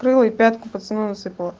пятку пацану насыпала